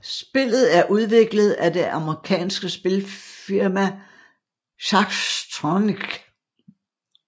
Spillet er udviklet af det amerikanske spilfirma Zachtronics